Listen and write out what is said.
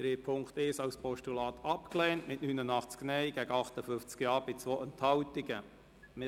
Sie haben den Punkt 1 als Postulat mit 89 Nein- gegen 58 Ja-Stimmen bei 2 Enthaltungen abgelehnt.